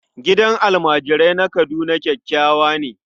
Gidan almajirai na Kaduna kyakkyawa ne.